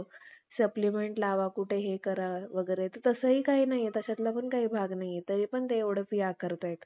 मेल्यानंतर, कित्येक ब्रम्ह ऋषींनी, ब्राम्हणाच्या लेखाचे तीन भेद म्हणजे, वेद केले. व पुढे त्या तीन वेदांत अनेक ब्रम्ह ऋषींनी अनेक तर्हेचे फेराफेर करून